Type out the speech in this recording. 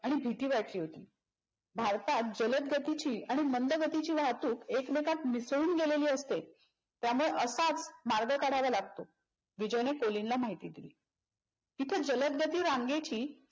आणि भीती वाटली होती. भारतात जलद गतीची आणि मंद गतीची वाहतूक एकमेकात मिसळून गेलेली असते त्यामुळे असाच मार्ग काढावा लागतो. विजयन कोलिनला माहिती दिली. इथ जलद गती रांगेची